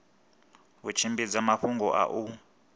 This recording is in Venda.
u tshimbidza mafhungo a u